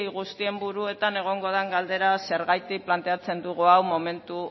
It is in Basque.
guztien buruetan egongo den galdera zergatik planteatzen dugu hau momentu